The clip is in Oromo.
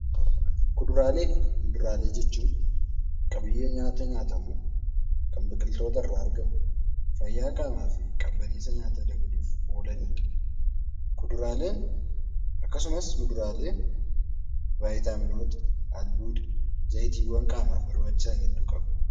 Kuduraalee fi muduraalee jechuun qabiyyee nyaataa nyaatamuu kan biqiloota irraa argamu fayyaa qaamaa fi qabbaneessaaf oolanidha. Kuduraalee akkasumas muduraalee vitaaminoota, albuuda, zayitawwan qaamaaf barbaachisan hedduu qaba.